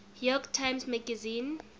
york times magazine